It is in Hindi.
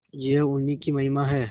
यह उन्हीं की महिमा है